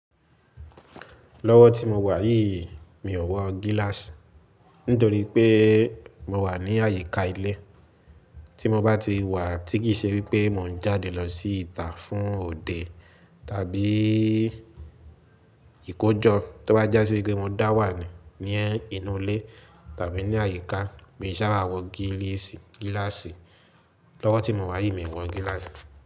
Lọ́wọ́ tí mo wà yìí mi ò wọ gíláàsì nítorí pé mo wà ní àyíká ilé. Tí mo bá ti wà tí kì í ṣe wípé mò ń jáde lọ sí ìta fún òde tàbí ìkójọ, tó bá jásí wípé mo dá wà ní, ní inú ilé tàbí ní àyíká, mi sáà bá wọ gíláàsì. Lọ́wọ́ tí mo wà yìí mi ò wọ gíláàsì.